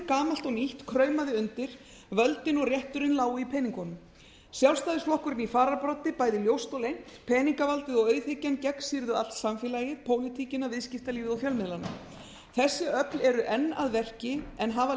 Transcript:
gamalt og nýtt kraumaði undir völdin og rétturinn lágu í peningunum sjálfstæðisflokkurinn í fararbroddi bæði ljóst og leynt peningavaldið og auðhyggjan gegnsýrðu allt samfélagið pólitíkina viðskiptalífið og fjölmiðlana þessi öfl eru enn að verki en hafa